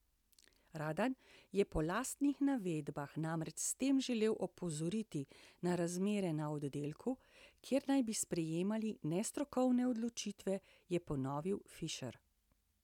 Radan je po lastnih navedbah namreč s tem želel opozoriti na razmere na oddelku, kjer naj bi sprejemali nestrokovne odločitve, je ponovil Fišer.